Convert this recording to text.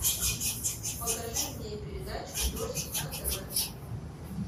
покажи мне передачу дождь на тв